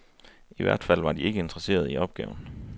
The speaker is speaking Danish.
I hvert fald var de ikke interesserede i opgaven.